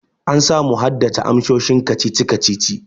An samu haddace amsoshin kacici kacici.